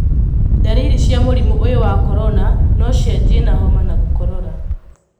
Ndariri cia mũrimũ ũyũ wa Korona nocianjie na homa na gũkorora.